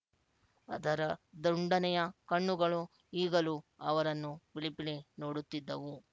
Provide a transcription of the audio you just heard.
ಅದರ ದುಂಡನೆಯ ಕಣ್ಣುಗಳು ಈಗಲೂ ಅವರನ್ನು ಪಿಳಿಪಿಳಿ ನೋಡುತ್ತಿದ್ದವು